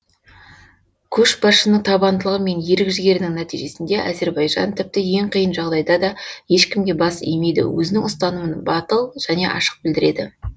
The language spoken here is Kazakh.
көшбасшының табандылығы мен ерік жігерінің нәтижесінде әзірбайжан тіпті ең қиын жағдайда да ешкімге бас имейді өзінің ұстанымын батыл және ашық білдіреді